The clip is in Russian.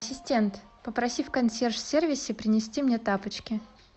ассистент попроси в консьерж сервисе принести мне тапочки